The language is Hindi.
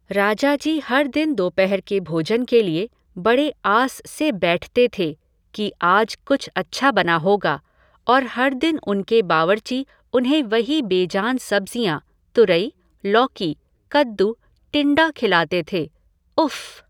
राजा जी हर दिन दोपहर के भोजन के लिए बड़े आस से बैठते थे कि आज कुछ अच्छा बना होगा और हर दिन उनके बावर्ची उन्हें वही बेजान सब्जियाँ तुरई, लौकी, कददू, टिंडा खिलाते थे, उफ़।